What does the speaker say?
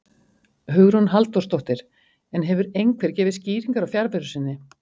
Hugrún Halldórsdóttir: En hefur einhver gefið skýringar á fjarveru sinni?